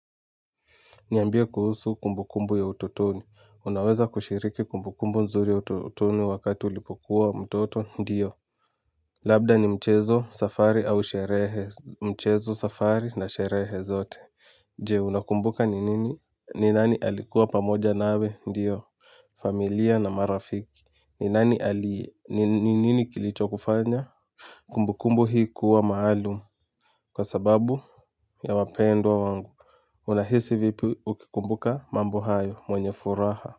Niambie kuhusu kumbukumbu ya ututoni. Unaweza kushiriki kumbukumbu nzuri ya ututoni wakati ulipokuwa mtoto? Ndiyo. Labda ni mchezo safari au sherehe. Mchezo safari na sherehe zote. Je, unakumbuka ni nini? Ni nani alikuwa pamoja nawe? Ndiyo. Familia na marafiki. Ni nini kilicho kufanya? Kumbukumbu hii kuwa maalum kwa sababu ya wapendwa wangu. Unahisi vipi ukikumbuka mambo hayo mwenye furaha.